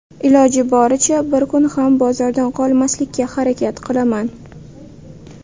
Iloji boricha bir kun ham bozordan qolmaslikka harakat qilaman.